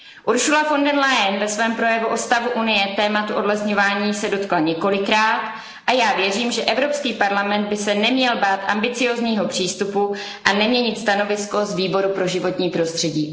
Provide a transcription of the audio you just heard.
Ursula von der Leyenová se ve svém projevu o stavu Unie tématu odlesňovaní dotkla několikrát a já věřím, že Evropský parlament by se neměl bát ambiciózního přístupu a neměl by měnit stanovisko Výboru pro životní prostředí.